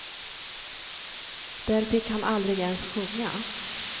Där fick han aldrig ens sjunga.